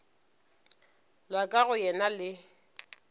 la ka go yena le